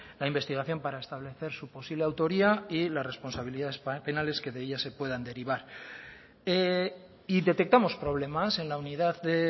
la investigación para establecer su posible autoría y las responsabilidades penales que de ella se puedan derivar y detectamos problemas en la unidad de